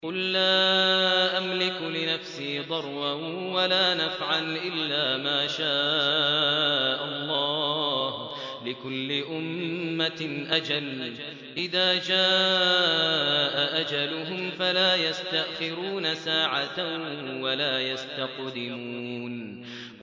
قُل لَّا أَمْلِكُ لِنَفْسِي ضَرًّا وَلَا نَفْعًا إِلَّا مَا شَاءَ اللَّهُ ۗ لِكُلِّ أُمَّةٍ أَجَلٌ ۚ إِذَا جَاءَ أَجَلُهُمْ فَلَا يَسْتَأْخِرُونَ سَاعَةً ۖ وَلَا يَسْتَقْدِمُونَ